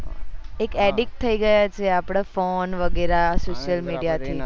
એ edit થઇ ગયા છે આપદા ફોન વગેરા social media થી